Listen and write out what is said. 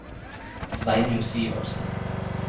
Sveinung Syvertsen